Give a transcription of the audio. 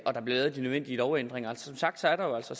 der bliver lavet de nødvendige lovændringer som sagt er der jo altså